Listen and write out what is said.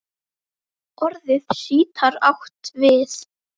Orðið sítar átt við